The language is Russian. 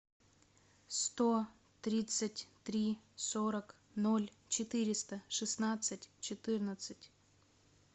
сто тридцать три сорок ноль четыреста шестнадцать четырнадцать